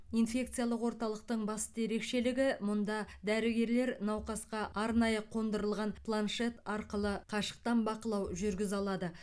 инфекциялық орталықтың басты ерекшелігі мұнда дәрігерлер науқасқа арнайы қондырылған планшет арқылы қашықтан бақылау жүргізе алады